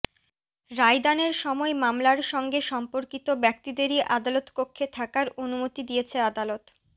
রায়দানের সময় মামলার সঙ্গে সম্পর্কিত ব্যক্তিদেরই আদালতকক্ষে থাকার অনুমতি দিয়েছে আদালত